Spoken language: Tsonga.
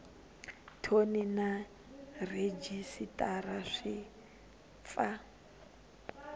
thoni na rhejisitara swi pfa